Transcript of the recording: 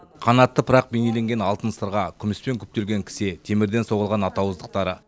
қанатты пырақ бейнеленген алтын сырға күміспен күптелген кісе темірден соғылған ат ауыздықтары